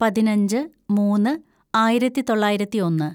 പതിനഞ്ച് മൂന്ന് ആയിരത്തിതൊള്ളായിരത്തി ഒന്ന്